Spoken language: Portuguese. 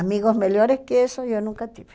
Amigos melhores que isso, eu nunca tive.